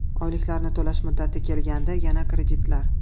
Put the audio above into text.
Oyliklarni to‘lash muddati kelgandi, yana kreditlar.